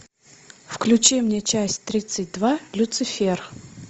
включи мне часть тридцать два люцифер